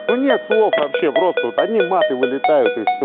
ну нет слов вообще просто вот одни маты вылетаю и всё